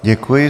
Děkuji.